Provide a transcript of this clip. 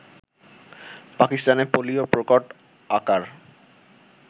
পাকিস্তানে পোলিও প্রকট আকার